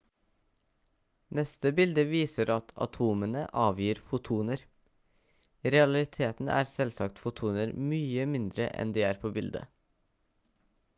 neste bilde viser at atomene avgir fotoner i realiteten er selvsagt fotoner mye mindre enn de er på bildet